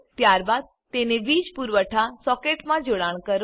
ત્યારબાદ તેને વીજ પુરવઠા સોકેટમાં જોડાણ કરો